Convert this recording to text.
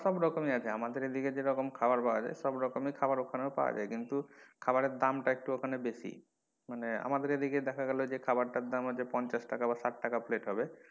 খাওয়ার সব রকমের আছে আমাদের এদিকে যেমন খাওয়ার পাওয়া যায় খাওয়ার সব খাওয়ার ওখানেও পাওয়া যায় কিন্তু খাওয়ারের দাম টা ওখানে একটু বেশি মানে আমাদের এদিকে দেখা গেলো যে খাওয়ার টার দাম পঞ্চাশ টাকা বা ষাট টাকা plate হবে,